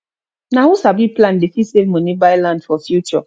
na who sabi plan dey fit save money buy land for future